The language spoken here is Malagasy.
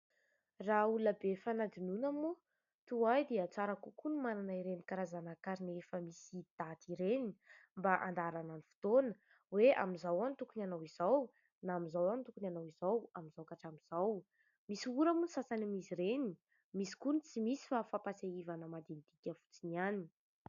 Raha olona be fanadinoana moa, toa ahy dia tsara kokoa ny manana ireny karazana karine efa misy daty ireny mba handaharana ny fotoana hoe amin'izao aho no tokony hanao an'izao na amin'izao aho no tokony hanao izao, amin'izao ka hatramin'izao. Misy ora moa ny sasany amin'izy ireny, misy koa ny tsy misy fa fampatsiahivana madinidinika fotsiny ihany.